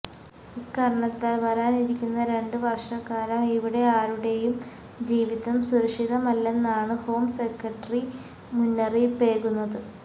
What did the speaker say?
ഇക്കാരണത്താൽ വരാനിരിക്കുന്ന രണ്ട് വർഷക്കാലം ഇവിടെ ആരുടെയും ജീവിതം സുരക്ഷിതമല്ലെന്നാണ് ഹോം സെക്രട്ടറി മുന്നറിയിപ്പേകുന്നത്